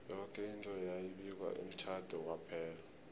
yoke into yayi bikwa emtjhade kwaphela